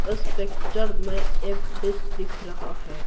इस पिक्चर में एक डिश दिख रहा है।